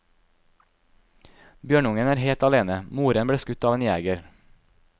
Bjørnungen er helt alene, moren ble skutt av en jeger.